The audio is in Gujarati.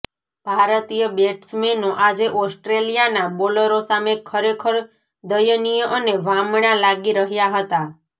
ભારતીય બેટ્સમેનો આજે ઓસ્ટ્રેલિયાના બોલરો સામે ખરેખર દયનિય અને વામણા લાગી રહ્યાં હતાં